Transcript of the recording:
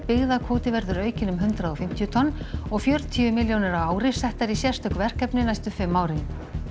byggðakvóti verður aukinn um hundrað og fimmtíu tonn og fjörutíu milljónir á ári settar í sérstök verkefni næstu fimm árin